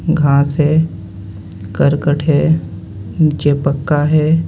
घांस है करकट है नीचे पक्का है